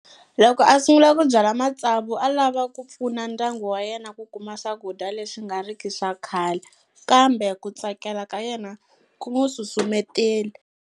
Loko a sungula ku byala matsavu a lava ku pfuna ndyangu wa yena ku kuma swakudya leswi nga riki swa khale, kambe ku tsakela ka yena ku n'wi susumetele.